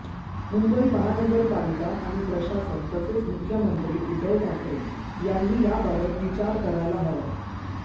मुंबई महानगरपालिका आणि प्रशासन तसेच मुख्यमंत्री उद्धव ठाकरे यांनी याबाबत विचार करायला हवा